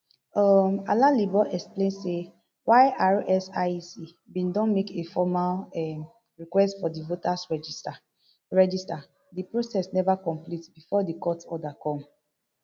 um alalibo explain say while rsiec bin don make a formal um request for di voters register register di process neva complete bifor di court order come